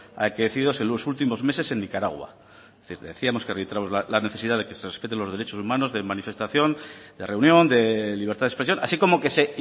acaecidos en los últimos meses en nicaragua les decíamos que la necesidad de que se respeten los derechos humanos de manifestación de reunión de libertad de expresión así como que se